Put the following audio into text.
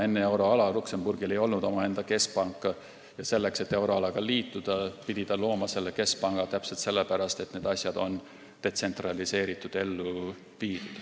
Enne euroalaga liitumist ei olnud Luksemburgil omaenda keskpanka ja ta pidi selle looma sellepärast, et need asjad on ellu viidavad detsentraliseeritult.